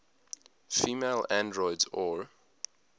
female androids or